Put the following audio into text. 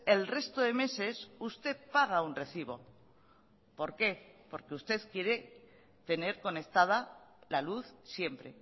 el resto de meses usted paga un recibo por qué porque usted quiere tener conectada la luz siempre